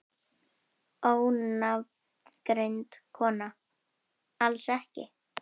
Ónafngreind kona: Alls ekki?